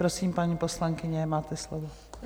Prosím, paní poslankyně, máte slovo.